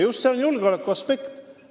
Siin on mängus ka julgeolekuaspekt.